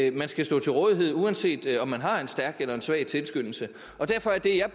at man skal stå til rådighed uanset om man har en stærk eller en svag tilskyndelse og derfor er